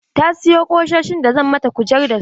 Ta sayo ƙusoshi da zan mata kujer da su.